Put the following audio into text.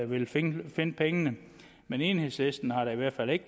vil finde finde pengene men enhedslisten har i hvert fald ikke